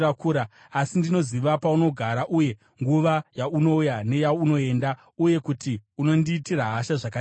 “Asi ndinoziva paunogara uye nguva yaunouya neyaunoenda uye kuti unondiitira hasha zvakadii.